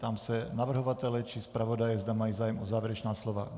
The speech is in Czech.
Ptám se navrhovatele či zpravodaje, zda mají zájem o závěrečná slova.